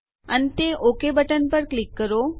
અંતે okay button પર click કરો